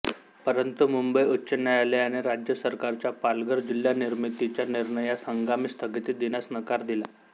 परंतु मुंबई उच्च न्यायालयाने राज्य सरकारच्या पालघर जिल्हा निर्मितीच्या निर्णयास हंगामी स्थगिती देण्यास नकार दिला